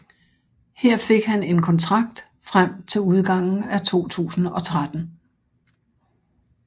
Her fik han en kontrakt frem til udgangen af 2013